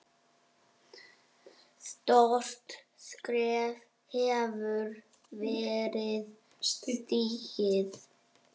Stórt skref hefur verið stigið.